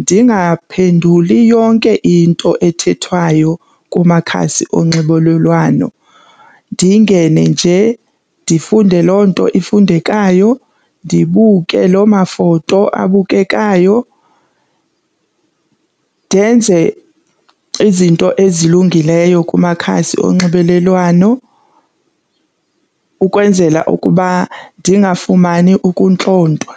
ndingaphenduli yonke into ethethwayo kumakhasi onxibelelwano. Ndingene nje ndifunde loo nto ifundekayo, ndibuke loo mafoto abukekayo, ndenze izinto ezilungileyo kumakhasi onxibelelwano ukwenzela ukuba ndingafumani ukuntlontwa.